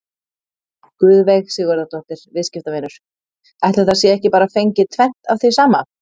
Guðveig Sigurðardóttir, viðskiptavinur: Ætli það sé ekki bara fengið tvennt af því sama?